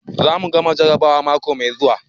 Za mu gama jarrabawa mako mai zuwa.